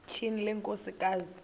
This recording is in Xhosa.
tyhini le nkosikazi